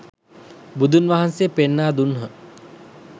බුදුන් වහන්සේ පෙන්වා දුන්හ.